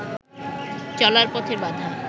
চলার পথের বাধা